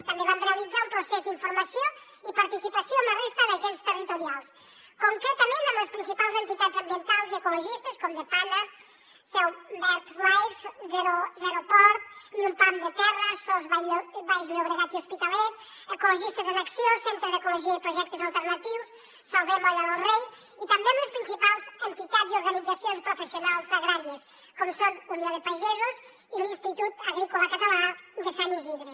també vam realitzar un procés d’informació i participació amb la resta d’agents territorials concretament amb les principals entitats ambientals i ecologistes com depana seo birdlife zeroport ni un pam de terra sos baix llobregat i hospitalet ecologistes en acció centre d’ecologia i projectes alternatius salvem l’olla del rei i també amb les principals entitats i organitzacions professionals agràries com són unió de pagesos i l’institut agrícola català de sant isidre